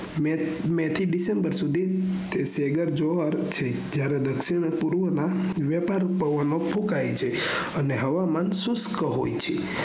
may થી december સુઘી સેઘર જુવાર છે જયારે દક્ષિણ પૂર્વ માં ય્રથાથ પવનો ફુકાય છે અને હવામાન સુસ્ત હોય છે